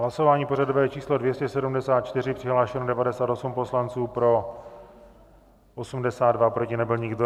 Hlasování pořadové číslo 274, přihlášeno 98 poslanců, pro 82, proti nebyl nikdo.